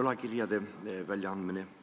võlakirjade väljaandmist?